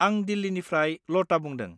आं दिल्लिनिफ्राय लता बुंदों।